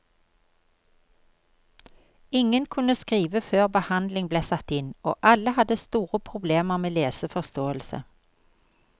Ingen kunne skrive før behandling ble satt inn, og alle hadde store problemer med leseforståelse.